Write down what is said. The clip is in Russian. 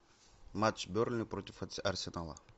матч бернли против арсенала